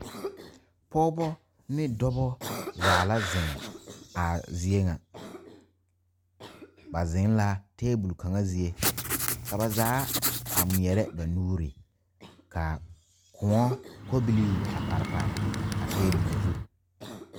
Pɔgeba ne dɔba zaa la zeŋ a zie ŋa ba zeŋ la tabol kaŋ zie ka ba zaa ŋmeɛrɛ ba nuuri ka koɔ kɔbilii a pare pare a tabol zu.